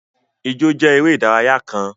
Ìjọ̀ jẹ̀ èrè idaraya kàn.